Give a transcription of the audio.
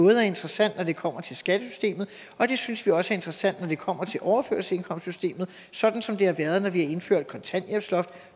er interessant når det kommer til skattesystemet og det synes vi også er interessant når det kommer til overførselsindkomstssystemet sådan som det har været når vi har indført kontanthjælpsloft